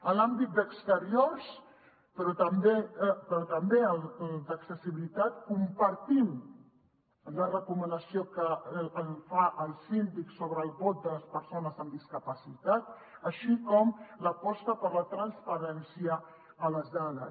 en l’àmbit d’exteriors però també en el d’accessibilitat compartim la recomanació que fa el síndic sobre el vot de les persones amb discapacitat així com l’aposta per la transparència en les dades